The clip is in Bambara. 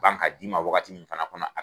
Ban ka d'i ma wagati min fana kɔnɔ a